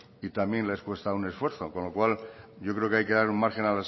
y también les cuesta un esfuerzo con lo cual yo creo que hay que dar un margen